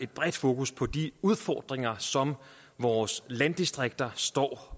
bredt fokus på de udfordringer som vores landdistrikter står